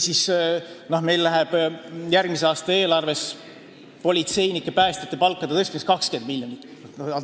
Meil läheb järgmise aasta eelarvest politseinike ja päästjate palkade tõstmiseks 20 miljonit.